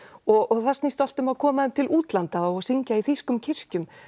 og það snýst allt um að koma þeim til útlanda og syngja í þýskum kirkjum